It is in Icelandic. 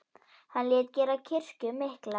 Hann lét gera kirkju mikla.